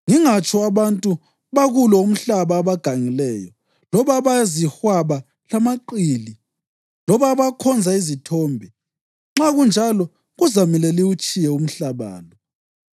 ngingatsho abantu bakulo umhlaba abagangileyo, loba abayizihwaba lamaqili, loba abakhonza izithombe. Nxa kunjalo kuzamele liwutshiye umhlaba lo.